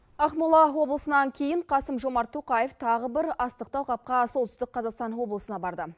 ақмола облысынан кейін қасым жомарт тоқаев тағы бір астықты алқапқа солтүстік қазақстан облысына барды